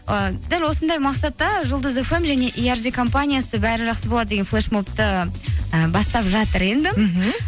ыыы дәл осындай мақсатта жұлдыз фм және компаниясы бәрі жақсы болады деген флешмобты і бастап жатыр енді мхм